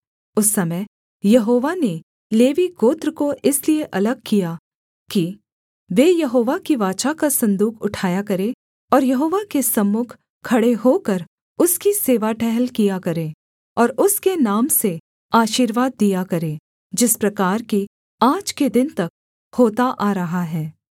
उस समय यहोवा ने लेवी गोत्र को इसलिए अलग किया कि वे यहोवा की वाचा का सन्दूक उठाया करें और यहोवा के सम्मुख खड़े होकर उसकी सेवा टहल किया करें और उसके नाम से आशीर्वाद दिया करें जिस प्रकार कि आज के दिन तक होता आ रहा है